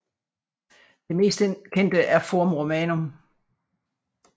Det mest kendte er Forum Romanum